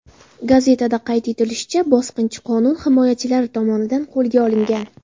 Gazetada qayd etilishicha, bosqinchi qonun himoyachilari tomonidan qo‘lga olingan.